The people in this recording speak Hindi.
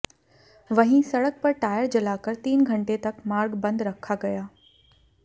वहीं सड़क पर टायर जलाकर तीन घंटे तक मार्ग बंद रखा गया